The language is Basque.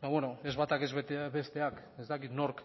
ba bueno ez bata ez besteak ez dakit nork